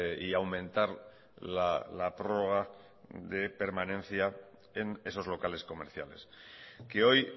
y aumentar la prorroga de permanencia en esos locales comerciales que hoy